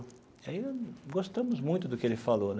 E aí gostamos muito do que ele falou.